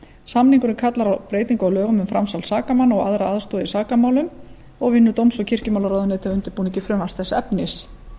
samningurinn kallar á breytingu á lögunum um framsal sakamanna og aðra aðstoð í sakamálum og vinnur dóms og kirkjumálaráðuneytið að undirbúningi frumvarps þess efnis